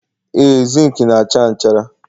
Ee, zinc na-acha nchara